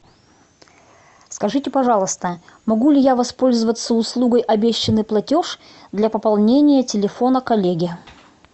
скажите пожалуйста могу ли я воспользоваться услугой обещанный платеж для пополнения телефона коллеги